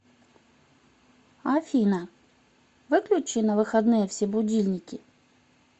афина выключи на выходные все будильники